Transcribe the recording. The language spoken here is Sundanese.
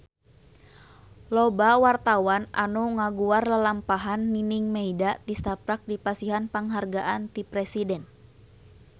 Loba wartawan anu ngaguar lalampahan Nining Meida tisaprak dipasihan panghargaan ti Presiden